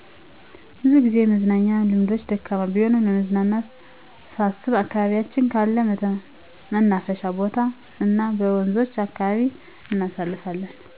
ብዙጊዜ የመዝናናት ልምዳችን ደካማ ቢሆንም ለመዝናናት ሳስብ ከአካባቢያችን ካለ መናፈሻ ቦታ እናበወንዞች አካባቢ እናሳልፋለን